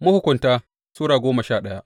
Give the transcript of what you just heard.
Mahukunta Sura goma sha daya